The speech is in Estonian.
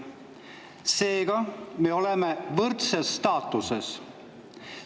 Seega me oleme võrdses staatuses.